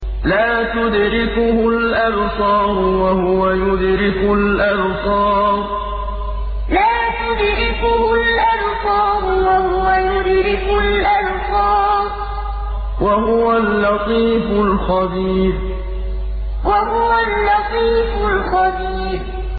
لَّا تُدْرِكُهُ الْأَبْصَارُ وَهُوَ يُدْرِكُ الْأَبْصَارَ ۖ وَهُوَ اللَّطِيفُ الْخَبِيرُ لَّا تُدْرِكُهُ الْأَبْصَارُ وَهُوَ يُدْرِكُ الْأَبْصَارَ ۖ وَهُوَ اللَّطِيفُ الْخَبِيرُ